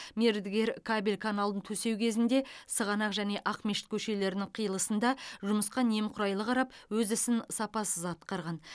мердігер кабель каналын төсеу кезінде сығанақ және ақмешіт көшелерінің қиылысында жұмысқа немқұрайлы қарап өз ісін сапасыз атқарған